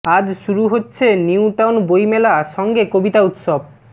আজ শুরু হচ্ছে নিউ টাউন বইমেলা সঙ্গে কবিতা উৎসব